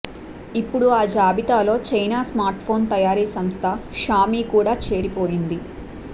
ఇప్పుడు ఆ జాబితాలో చైనా స్మార్ట్ఫోన్ తయారీ సంస్థ షామీ కూడా చేరిపోయింది